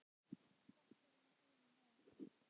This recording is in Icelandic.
Þetta er nú einum of!